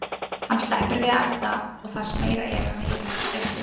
Hann sleppur við að elda og það sem meira er, hann heyrir ekki fréttir.